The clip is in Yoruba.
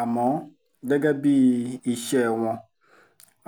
àmọ́ gẹ́gẹ́ bíi iṣẹ́ wọn